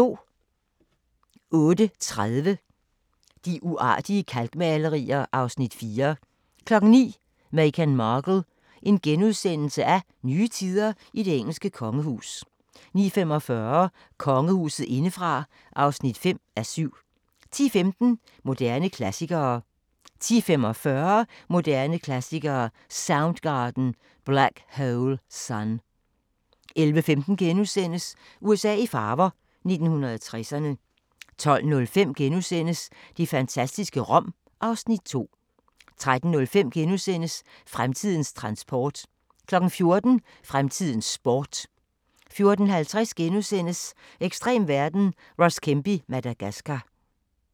08:30: De uartige kalkmalerier (Afs. 4) 09:00: Meghan Markle – Nye tider i det engelske kongehus * 09:45: Kongehuset indefra (5:7) 10:15: Moderne klassikere 10:45: Moderne Klassikere: Soundgarden – Black Hole Sun 11:15: USA i farver – 1960'erne * 12:05: Det fantastiske Rom (Afs. 2)* 13:05: Fremtidens transport * 14:00: Fremtidens sport 14:50: Ekstrem verden – Ross Kemp i Madagascar *